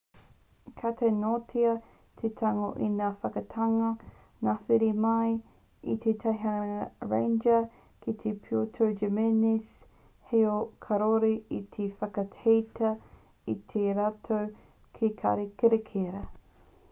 ka taea noatia te tango i ngā whakaaetanga ngāhere mai i te teihana ranger ki puerto jimēnez heoi kāore e whakaaetia e rātou te kāri kererita